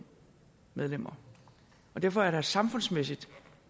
medlemmer og derfor er der samfundsmæssigt